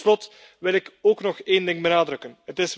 Tot slot wil ik ook nog een ding benadrukken.